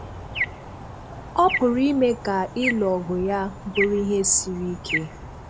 Ọ pụrụ ime ka ịlụ ọgụ ya bụrụ ihe siri ike.